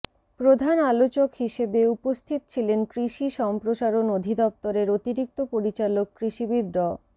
প্রধান আলোচক হিসেবে উপস্থিত ছিলেন কৃষি সম্প্রসারণ অধিদপ্তরের অতিরিক্ত পরিচালক কৃষিবিদ ড